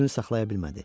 Özünü saxlaya bilmədi.